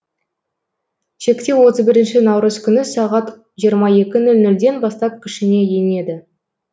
шектеу отыз бірінші наурыз күні сағат жиырма екі нөл нөлден бастап күшіне енеді